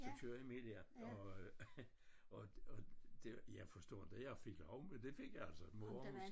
Så kører jeg med der og og og det jeg forstår inte jeg fik lov men det fik jeg altså mor hun